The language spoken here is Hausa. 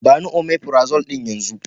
Ba ni " omeprazole " din yanzo.